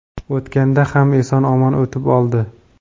O‘tganda ham eson-omon o‘tib oldi.